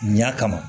Ɲan kama